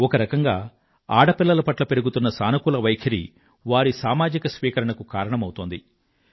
ఒక రకంగా ఆడపిల్లల పట్ల పెరుగుతున్న సానుకూల వైఖరి వారి సామాజిక స్వీకరణకు కారణమౌతోంది